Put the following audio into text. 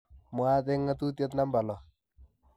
mwaat eng ngatutitiet namba lo